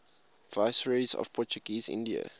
viceroys of portuguese india